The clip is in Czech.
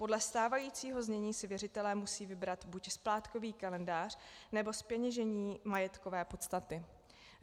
Podle stávajícího znění si věřitelé musí vybrat buď splátkový kalendář, nebo zpeněžení majetkové podstaty.